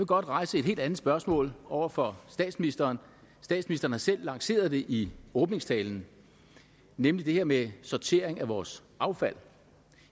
godt rejse et helt andet spørgsmål over for statsministeren statsministeren har selv lanceret det i åbningstalen nemlig det her med sortering af vores affald